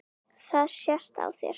Það sést á þér